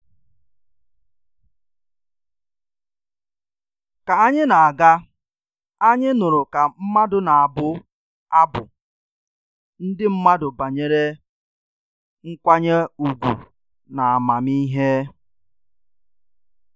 Ka anyị na-aga, anyị nụrụ ka mmadụ na-abụ abụ ndị mmadụ banyere nkwanye ùgwù na amamihe